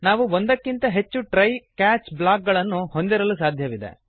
ನಾವು ಒಂದಕ್ಕಿಂತ ಹೆಚ್ಚು ಟ್ರೈ ಕ್ಯಾಚ್ ಬ್ಲಾಕ್ ಗಳನ್ನು ಹೊಂದಿರಲು ಸಾಧ್ಯವಿದೆ